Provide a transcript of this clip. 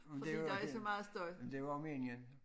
Men det jo det men det jo også meningen